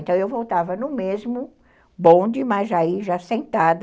Então eu voltava no mesmo bonde, mas aí já sentada,